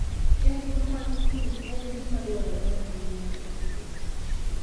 Chenro mag pur en gima dwarore ahinya e Agriculture and Food